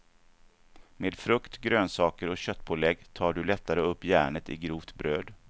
Med frukt, grönsaker och köttpålägg tar du lättare upp järnet i grovt bröd.